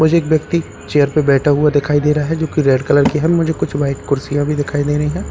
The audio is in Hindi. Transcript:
मुझे एक व्यक्ति चेयर पे बैठा हुआ दिखाई दे रहा है जो की रेड कलर मुझे कुछ व्हाइट कुर्सियां भी दिखाई दे रही है।